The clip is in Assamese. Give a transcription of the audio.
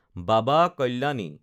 বাবা কল্যাণী